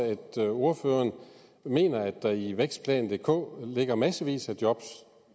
at ordføreren mener at der i vækstplan dk ligger i massevis af job